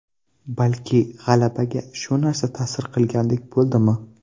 Balki g‘alabaga shu narsa ta’sir qilgandek bo‘ldimi?